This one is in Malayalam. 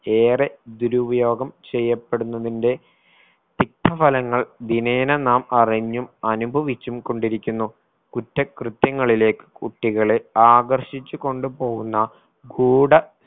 ഏറെ ദുരുപയോഗം ചെയ്യപ്പെടുന്നതിന്റെ തിക്ത ഫലങ്ങൾ ദിനേന നാം അറിഞ്ഞും അനുഭവിച്ചും കൊണ്ടിരിക്കുന്നു കുറ്റകൃത്യങ്ങളിലേക്ക് കുട്ടികളെ ആകർഷിച്ചു കൊണ്ടുപോവുന്ന ഗൂഢ